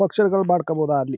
Function ಗಳ್ ಮಾಡ್ಕೋಬೋದ ಅಲ್ಲಿ.